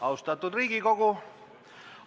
Austatud Riigikogu!